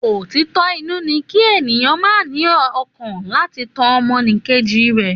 Òtítọ inú ní kí ènìyàn má ní ọkàn láti tan ọmọnìkejì jẹ